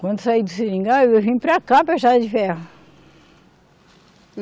Quando eu saí do seringal, eu vim para cá para a estrada de ferro.